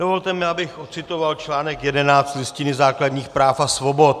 Dovolte mi, abych odcitoval článek 11 Listiny základních práv a svobod.